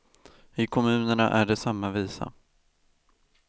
I kommunerna är det samma visa.